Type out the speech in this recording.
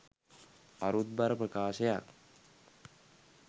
අරුත්බර ප්‍රකාශයක්